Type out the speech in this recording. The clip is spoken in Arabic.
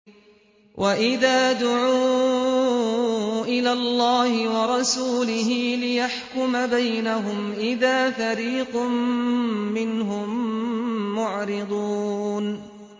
وَإِذَا دُعُوا إِلَى اللَّهِ وَرَسُولِهِ لِيَحْكُمَ بَيْنَهُمْ إِذَا فَرِيقٌ مِّنْهُم مُّعْرِضُونَ